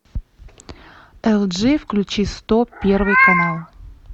эл джи включи сто первый канал